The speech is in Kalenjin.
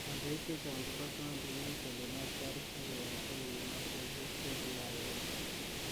Kandoik chechang chepo county ko kitelel askarik akoyakto korip mastoshwek che ki ake ngem.